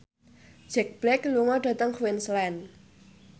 Jack Black lunga dhateng Queensland